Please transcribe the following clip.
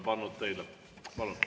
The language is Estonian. Palun!